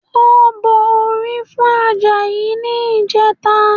Wọ́n bọ orí fún Àjàyí ní ìjẹta